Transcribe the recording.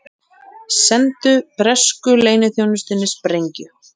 Sendu bresku leyniþjónustunni sprengju